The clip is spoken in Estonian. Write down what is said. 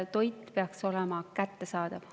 Toit peaks olema kättesaadav.